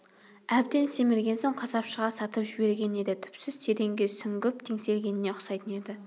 әбден семірген соң қасапшыға сатып жіберген еді түпсіз тереңге сүңгіп теңселгеніне ұқсайтын еді